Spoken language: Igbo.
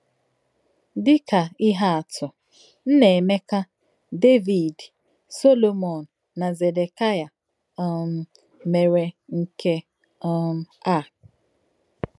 Dị̀ kā̄ íhè̄ àtụ̀, Nnaemeka, Devid, Solomọn, nā̄ Zedekaịā um mèrè̄ nké um ā̄.